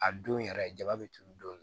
A don yɛrɛ jaba bɛ turu don